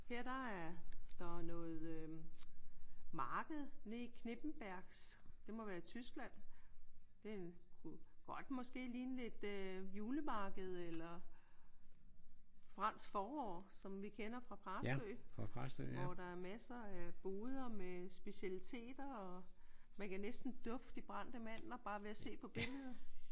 Her der er der noget øh marked nede i Knippenbergs. Det må være i Tyskland. Det kunne godt måske ligne et øh julemarked eller Fransk Forår som vi kender fra Præstø. Hvor der er masser af boder med specialiteter og man kan næste dufte de brændte mandler ved bare at se på billedet